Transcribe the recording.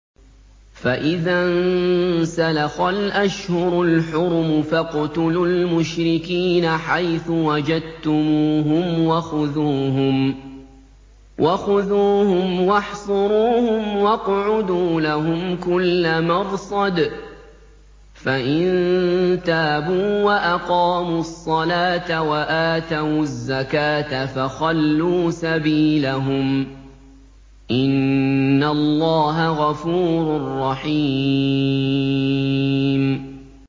فَإِذَا انسَلَخَ الْأَشْهُرُ الْحُرُمُ فَاقْتُلُوا الْمُشْرِكِينَ حَيْثُ وَجَدتُّمُوهُمْ وَخُذُوهُمْ وَاحْصُرُوهُمْ وَاقْعُدُوا لَهُمْ كُلَّ مَرْصَدٍ ۚ فَإِن تَابُوا وَأَقَامُوا الصَّلَاةَ وَآتَوُا الزَّكَاةَ فَخَلُّوا سَبِيلَهُمْ ۚ إِنَّ اللَّهَ غَفُورٌ رَّحِيمٌ